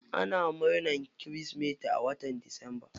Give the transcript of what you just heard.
Ana murnan kirismeti a watan disamba.